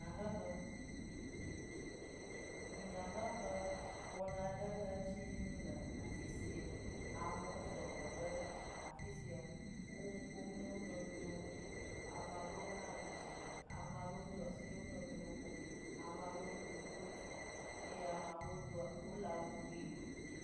Dunyahehe. Dunyahehe wɔna aɖe le edzi yim le afi sia. Amewo sɔ gbɔ ɖe afi sia. Wo nu ƒom na wo nɔnɔewo. Ame aɖewo hã le tsitsre ame aɖewo do asi ɖe wo nɔewo gbɔ. Ame aɖewo do kotu eye ame aɖewo do wo le awu ʋi me.